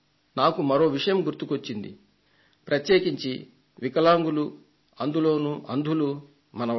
నాకు మరో విషయం గుర్తుకొచ్చింది ప్రత్యేకించి వికలాంగులు అందులోనూ అంధులు మన వాళ్లు